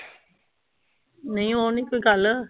ਨਹੀਂ ਉਹ ਨੀ ਕੋਈ ਗੱਲ।